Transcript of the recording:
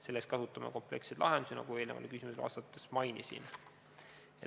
Selleks kasutame kompleksseid lahendusi, nagu ma eelnevale küsimusele vastates mainisin.